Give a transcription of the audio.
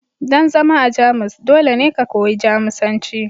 don zama a Jamus dole ne ku koyi Jamusanci